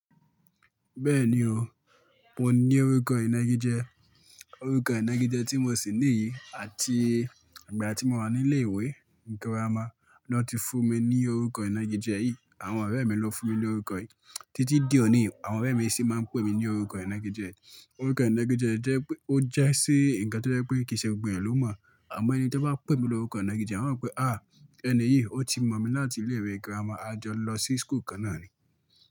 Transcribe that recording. Bẹ́ẹ̀ni o, mo ní orúkọ ìnági jẹ. Orúkọ ìnági jẹ tí mo ṣì níyi àti ìgbà tí mo wà ní ilé ìwé girama na ti fún mi ní orúkọ ìnági jẹ yìí. Àwọn ọ̀rẹ́ mi ló fún mi ní orúkọ yìí. Títí di òní, àwọn ọ̀rẹ́ mi sì máa ń pè mí ní orúkọ ìnági yi. Orúkọ ìnági jẹ jẹ́ pé ó jẹ́ si ǹkan tó jẹ́ pé kìí ṣe gbogbo eeyan ló mọ̀. Àmọ́ ẹni tí wọ́n bá pè mi ní orúkọ ìnági jẹ, wọ́n yóò pé, à ẹni yìí ó ti mọ̀ mi láti ilé ìwé girama, a jọ lọ sí school kan náà ni.